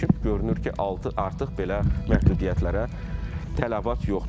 Görünür ki, artıq belə məhdudiyyətlərə tələbat yoxdur.